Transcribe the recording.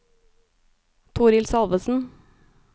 Torhild Salvesen